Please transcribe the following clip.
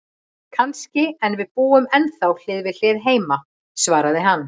Kannski, en við búum ennþá hlið við hlið heima, svaraði hann.